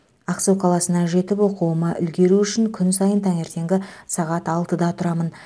ақсу қаласына жетіп оқуыма үлгеру үшін күн сайын таңертеңгі сағат алтыда тұрамын